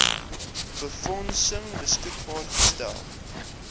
befondsing beskikbaar gestel